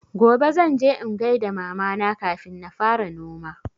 Gobe zan je in gaida mama na kafin na fara noma